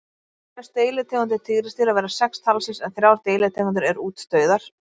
Nú teljast deilitegundir tígrisdýra vera sex talsins en þrjár deilitegundir eru útdauðar.